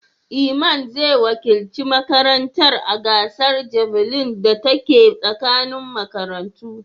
Iman zai wakilci makarantar a gasar javelin da ta ke tsakanin makarantu.